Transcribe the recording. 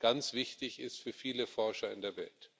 ganz wichtig ist für viele Forscher in der Welt.